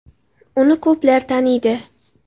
Uni ko‘plar taniydi.